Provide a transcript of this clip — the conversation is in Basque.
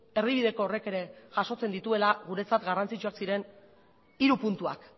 erdibideko horrek ere jasotzen dituela guretzat garrantzitsuak ziren hiru puntuak